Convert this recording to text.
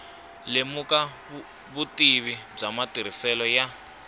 lemuka vutivi bya matirhiselo ya